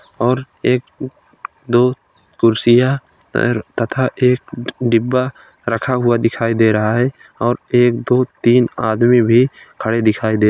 और एक दो कुर्सियां तर तथा एक डिब्बा रखा हुआ दिखाई दे रहा है और एक दो तीन आदमी भी खड़े दिखाई दे --